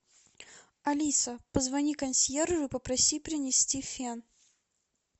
алиса позвони консьержу попроси принести фен